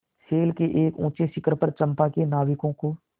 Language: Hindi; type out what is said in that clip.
शैल के एक ऊँचे शिखर पर चंपा के नाविकों को